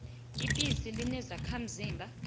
ibisi linezakha mzimba